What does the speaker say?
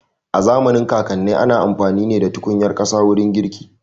A zamanin kakanai ana amfani ne da tukunyar ƙasa wurin girki